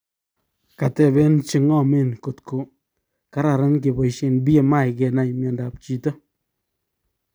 kateben chengamen kotko kararan kebaisien BMI kenai mieindap chito